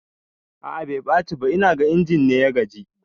A'a bai ɓaci ba, inaga injin ne ya gaji